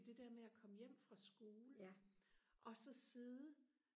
det der med og komme hjem fra skole og så sidde